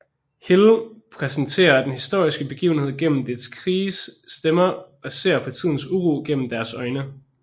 Hill præsenterer den historiske begivenhed gennem dets krigeres stemmer og ser på tidens uro gennem deres øjne